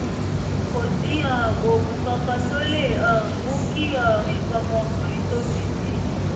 kò sí um oògùn kankan tó lè um mú kí um nǹkan ọmọkùnrin tóbi sí i